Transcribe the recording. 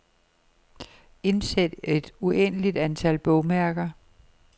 Indsæt et uendeligt antal bogmærker.